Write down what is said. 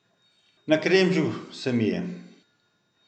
Nakremžil se mi je.